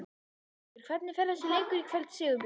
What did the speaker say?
Hjörtur: Hvernig fer þessi leikur í kvöld, Sigurbjörn?